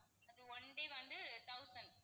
அது one day வந்து thousand